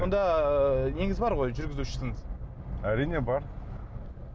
сонда ы неңіз бар ғой жүргізушіңіз әрине бар